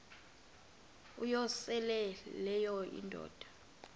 uyosele leyo indoda